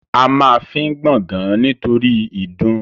A ma fín gbàngan nítorí ìdun